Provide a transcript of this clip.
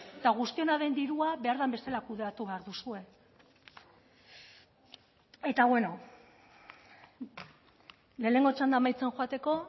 eta guztiona den dirua behar den bezala kudeatu behar duzue eta bueno lehenengo txanda amaitzen joateko